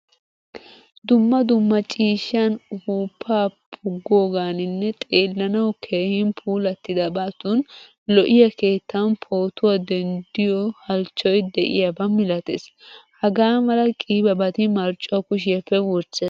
Dumma dumma ciishshan , uppuppaa puggoganinne xeellanawu keehin puulatidabatun lo'iyaa keettan pootuwaa denddiyo halchchoy de'iyaba milattees. Hagamala qiibabati marccuwaa kushiyappe wurssees.